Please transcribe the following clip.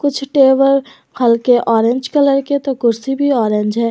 कुछ टेबल हल्के orange colour के तो कुर्सी भी ऑरेंज है।